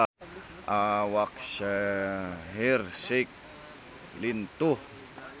Awak Shaheer Sheikh lintuh